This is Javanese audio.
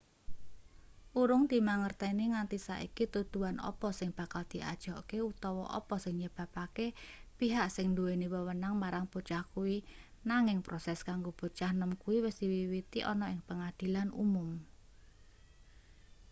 urung dimangerteni nganti saiki tuduhan apa sing bakal diajokke utawa apa sing nyebabake pihak sing nduweni wewenang marang bocah kuwi nanging proses kanggo bocah nom kuwi wis diwiwiti ana ing pengadilan umum